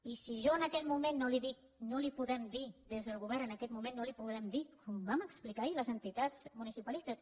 i si jo en aquest moment no li dic no li podem dir des del govern en aquest moment no li podem dir com vam explicar ahir a les entitats municipalistes